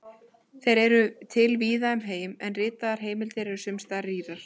Þeir eru til víða um heim, en ritaðar heimildir eru sums staðar rýrar.